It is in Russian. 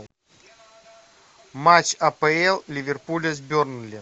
матч апл ливерпуля с бернли